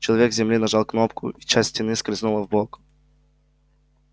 человек с земли нажал кнопку и часть стены скользнула вбок